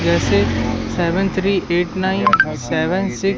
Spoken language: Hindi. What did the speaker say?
जैसे seven three eight nine seven six --